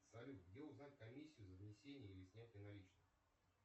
салют где узнать комиссию за внесение или снятие наличных